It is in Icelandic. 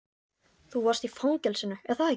Þú varst í fangelsinu, er það ekki?